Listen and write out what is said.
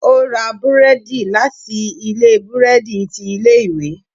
O ra búredì láti ilé burẹdi tí ilé ìwé